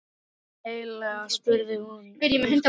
Hvað viltu eiginlega? spurði hún örg.